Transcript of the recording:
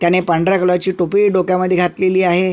त्यांनी पांढऱ्या कलर ची टोपी डोक्यामध्ये घातलेली आहे.